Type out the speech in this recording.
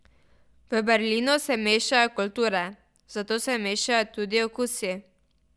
V Berlinu se mešajo kulture, zato se mešajo tudi okusi.